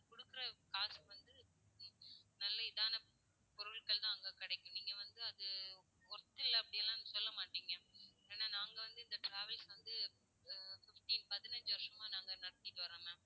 கொடுக்குற காசுக்கு வந்து நல்ல இதான பொருட்கள் தான் அங்க கிடைக்கும். நீங்க வந்து அது, worth இல்ல அப்படியெல்லாம் சொல்ல மாட்டீங்க. ஏன்னா நாங்க வந்து இந்த travels வந்து, ஹம் பதினைஞ்சு பதினைஞ்சு வருஷமா நாங்க நடத்திட்டு வர்றோம் ma'am